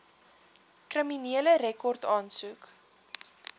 kriminele rekord aansoek